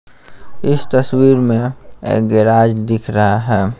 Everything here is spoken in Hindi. इस तस्वीर में एक गैराज दिख रहा है।